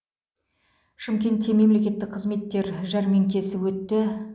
шымкентте мемлекеттік қызметтер жәрмеңкесі өтті